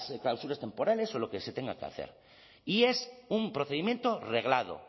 clausuras temporales o lo que se tenga que hacer y es un procedimiento reglado